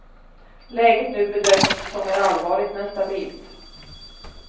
Läget nu bedöms som är allvarligt men stabilt.